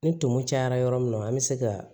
Ni tumu cayara yɔrɔ min na an be se ka